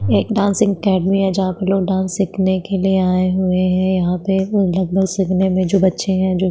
एक dancing academy है जहां पे लोग डांस सिखने के लिए आए हुए है यहाँ पे जो बच्चे है जो--